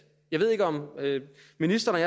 ministeren